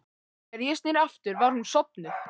Þegar ég sneri aftur var hún sofnuð.